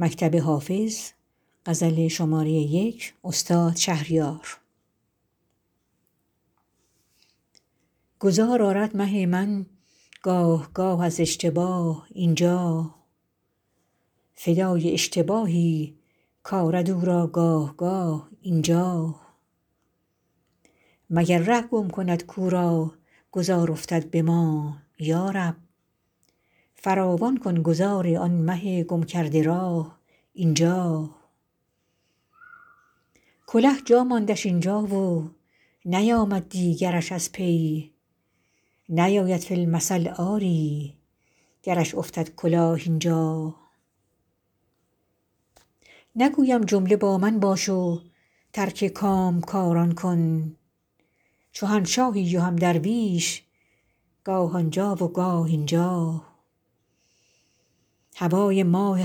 گذار آرد مه من گاه گاه از اشتباه اینجا فدای اشتباهی کآرد او را گاه گاه اینجا مگر ره گم کند کو را گذار افتد به ما یارب فراوان کن گذار آن مه گم کرده راه اینجا کله جا ماندش این جا و نیامد دیگرش از پی نیاید فی المثل آری گرش افتد کلاه اینجا نگویم جمله با من باش و ترک کامکاران کن چو هم شاهی و هم درویش گاه آنجا و گاه اینجا هوای ماه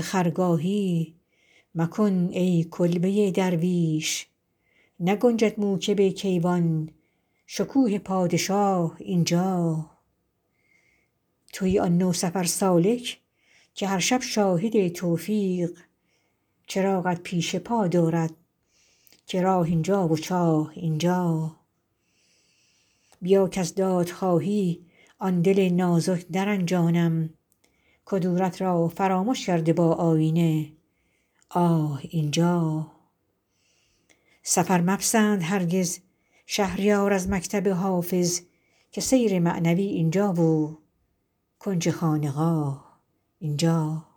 خرگاهی مکن ای کلبه درویش نگنجد موکب کیوان شکوه پادشاه اینجا شبی کان ماه با من بود می گفتم کلید صبح به چاه افکنده ایم امشب که دربند است ماه اینجا ندانستم که هم از نیمه شب تازد برون خورشید که نگذارد ز غیرت ماه را تا صبحگاه اینجا تویی آن نوسفر سالک که هر شب شاهد توفیق چراغت پیش پا دارد که راه اینجا و چاه اینجا به کوی عشق یا قصر شهان یا کلبه درویش فروغ دوست می خواهی تو خواه آنجا و خواه اینجا بیا کز دادخواهی آن دل نازک نرنجانیم کدورت را فرامش کرده با آیینه آه اینجا سفر مپسند هرگز شهریار از مکتب حافظ که سیر معنوی اینجا و کنج خانقاه اینجا